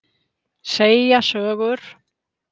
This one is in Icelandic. Segja sögur.